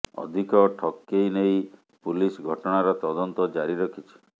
ଅଧିକ ଠକେଇ ନେଇ ପୁଲିସ ଘଟଣାର ତଦନ୍ତ ଜାରି ରଖିଛି